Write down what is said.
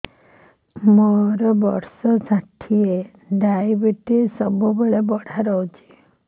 ମୋର ବର୍ଷ ଷାଠିଏ ଡାଏବେଟିସ ସବୁବେଳ ବଢ଼ା ରହୁଛି